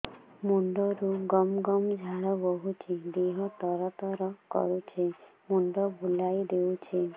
ମୁଣ୍ଡରୁ ଗମ ଗମ ଝାଳ ବହୁଛି ଦିହ ତର ତର କରୁଛି ମୁଣ୍ଡ ବୁଲାଇ ଦେଉଛି